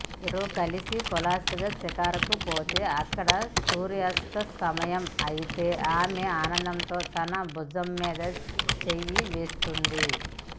ఇద్దరూ కలసి కులాసాగా షికారుకు పోతే అక్కడ సూర్యాస్తమయం అయితే ఆమె ఆనందంతో తన భుజం మీద చెయ్యి వేస్తుంది